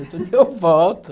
Depois eu volto.